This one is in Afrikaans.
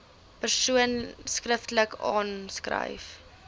persoon skriftelik aanskryf